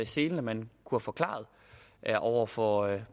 selen at man kunne have forklaret over for